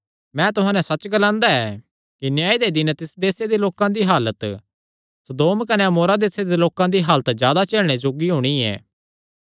मैं तुहां नैं सच्च ग्लांदा ऐ कि न्याय दे दिन तिस देसे दे लोकां दी हालत सदोम कने अमोरा देसां दे लोकां दी हालत जादा झेलणे जोग्गी होणी ऐ